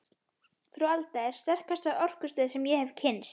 Frú Alda er sterkasta orkustöð sem ég hef kynnst.